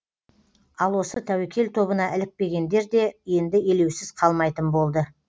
ал осы тәуекел тобына ілікпегендер де енді елеусіз қалмайтын болды